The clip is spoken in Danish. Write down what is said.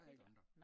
Hel klar